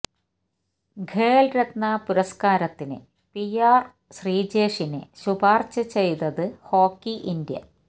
ഖേൽരത്ന പുരസ്കാരത്തിന് P R ശ്രീജേഷിനെ ശുപാർശ ചെയ്ത് ഹോക്കി ഇന്ത്യ